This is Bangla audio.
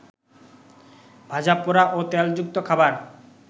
ভাজাপোড়া ও তেলযুক্ত খাবার